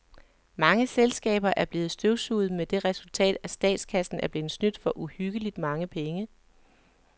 Mange selskaber er blevet støvsuget med det resultat, at statskassen er blevet snydt for uhyggeligt mange penge.